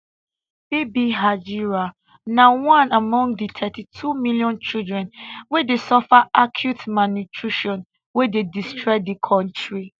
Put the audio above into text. bibi hajira na one among di thirty two million children wey dey suffer acute malnutrition wey dey destroy di kontri